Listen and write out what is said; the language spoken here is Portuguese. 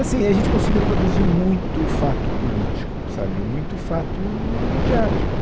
Assim e aí a gente conseguiu produzir muito fato político, sabe, muito fato midiático.